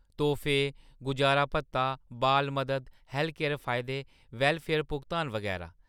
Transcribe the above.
तोह्‌‌फे, गुजारा भत्ता, बाल मदद, हैल्थकेयर फायदे, वैल्लफेयर भुगतान, बगैरा ।